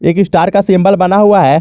एक स्टार का सिंबल बना हुआ है।